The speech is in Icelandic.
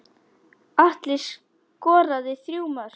Atli skoraði þrjú mörk.